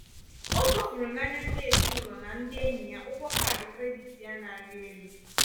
o zofuru n'anya ndị ezinụlọ na ndị enyi ya ụgwọ kaadị krediti ya na-arị élú.